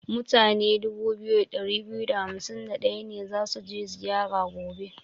Mutane 2251 ne za su je zira gobe.